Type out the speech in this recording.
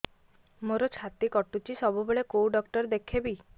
ମୋର ଛାତି କଟୁଛି ସବୁବେଳେ କୋଉ ଡକ୍ଟର ଦେଖେବି